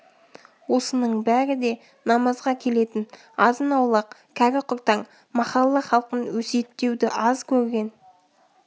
осының бәрі де намазға келетін азын-аулақ кәрі-құртаң махалла халқын өсиеттеуді аз көрген